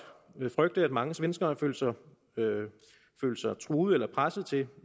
frygte at mange svenskere følte sig truet eller presset til